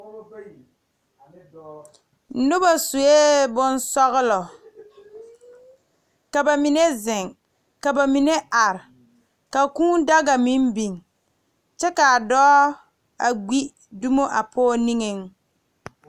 Noba sue bonsɔglɔ ka ba mine zeŋ ka ba mine are Ka kūū daga meŋ biŋ kyɛ ka dɔɔ a gbi dumo a pɔge niŋeŋ.